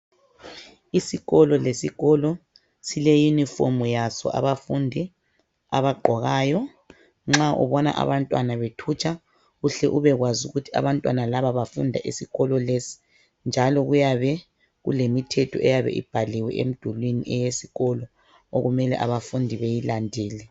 Isikolo lesikolo sile uniform yaso abafundi abayigqokayo nxa ubona abantwana bethutsha uhle ubekwazi ukuthi abantwana laba bafunda esikolo lesi njalo kuyabe kulemithetho eyabe ibhaliwe emdulwini eyesikolo okumele abafundi beyilandele.